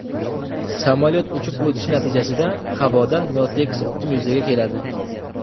Samolyot uchib o‘tishi natijasida havoda notekis oqim yuzaga keladi.